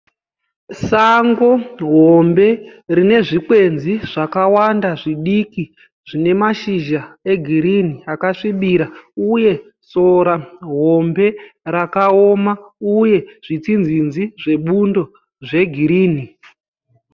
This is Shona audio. Sango hombe rine zvikwenzi zvakawanda zvidiki zvine mashizha egirini akasvibira uye sora hombe rakaoma uye zvitsinzinzi zvebundo zvegirini.